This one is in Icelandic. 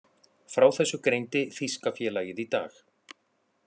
Frá þessu greindi þýska félagið í dag.